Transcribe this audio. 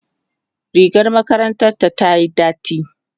rigar makarantar ta tayi dati